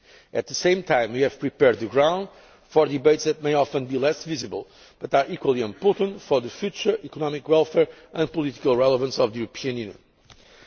At the same time, we have prepared the ground for debates that may often be less visible but are equally important for the future economic welfare and political relevance of the European